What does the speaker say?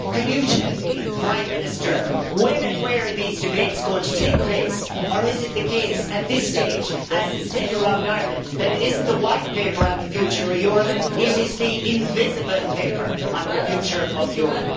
Can you tell me, Prime Minister, when and where these debates are going to take place or is it the case at this stage as is said around Ireland that it isn't the White Paper on the future of Europe, it is the invisible paper on the future of Europe.